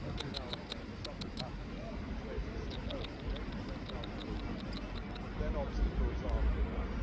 Every now and then something happens which makes us think oh, maybe there is now progress', but then obstacles are put up.